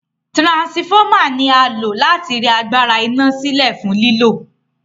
Transformer ni a lò láti rẹ agbára ina silẹ fún lílò